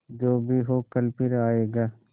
जो भी हो कल फिर आएगा